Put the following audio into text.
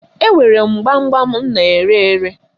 Enwere m gbam gbam m na-ere ere.